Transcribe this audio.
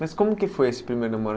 Mas como que foi esse primeiro namoro?